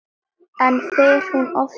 En fer hún oft norður?